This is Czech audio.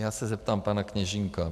Já se zeptám pana Kněžínka.